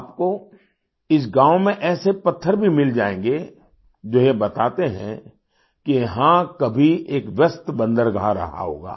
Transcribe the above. आपको इस गाँव में ऐसे पत्थर भी मिल जाएंगे जो यह बताते हैं कि यहाँ कभी एक व्यस्त बंदरगाह रहा होगा